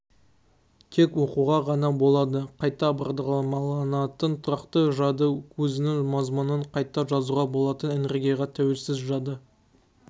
тек оқуға ғана болады қайта бағдарламаланатын тұрақты жады өзінің мазмұнын қайта жазуға болатын энергияға тәуелсіз жады